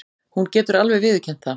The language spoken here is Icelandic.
Hún getur alveg viðurkennt það.